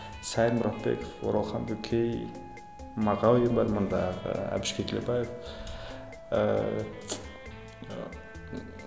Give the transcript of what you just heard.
сайын мұратбеков оралхан бөкей мағауин бар мындағы әбіш кекілбаев ыыы